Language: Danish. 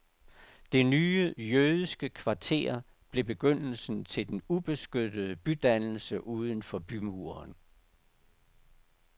Det nye jødiske kvarter blev begyndelsen til den ubeskyttede bydannelse uden for bymuren.